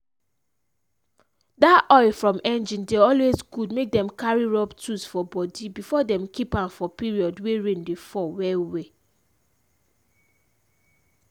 that oil from engine dey always good make them carry rub tools for body before them keep amfor period wey rain dey fall well well.